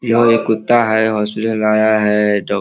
यह एक कुत्ता है हॉस्पिटल लाया है डॉक् --